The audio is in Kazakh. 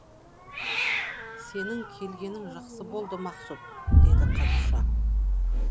сенің келгенің жақсы болды мақсұт дейді қадиша